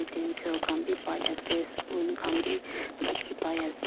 utensil khan bi pai ase spoon khan bi dikhi pai ase.